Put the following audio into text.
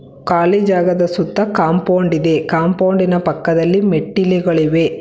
ಖಾಲಿ ಜಾಗದ ಸುತ್ತ ಕಾಂಪೌಂಡ್ ಇದೆ ಕಾಂಪೌಂಡ್ ಪಕ್ಕದಲ್ಲಿ ಮೆಟ್ಟಿಲುಗಳಿವೆ.